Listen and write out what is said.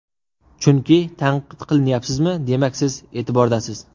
Chunki tanqid qilinyapsizmi, demak siz e’tibordasiz.